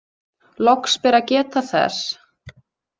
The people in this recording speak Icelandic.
Loks ber að geta þess.